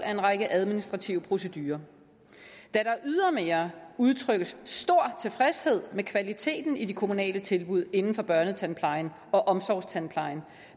en række administrative procedurer da der ydermere udtrykkes stor tilfredshed med kvaliteten i de kommunale tilbud inden for børnetandplejen og omsorgstandplejen